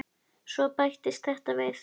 Svo bættist þetta við.